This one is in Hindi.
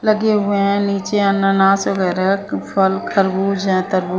लगे हुए है नीचे अनानास वगैरे फल खरबूज है तरबूज--